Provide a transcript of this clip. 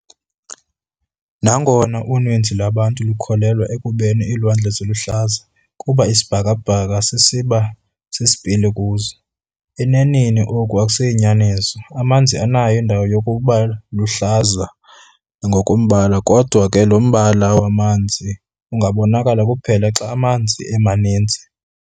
Nangona uninzi lwabantu lukholelwa ekubeni iilwandle ziluhlaza kuba isibhaka-bhaka sisiba sisipili kuzo, eneneni oku akusiyonyaniso. Amanzi anayo indawo yokubaluhlaza ngokombala kodwa ke lo mbala wamanzi ungabonakala kuphela xa amanzi emaninzi.